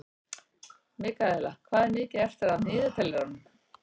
Mikaela, hvað er mikið eftir af niðurteljaranum?